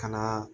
Kana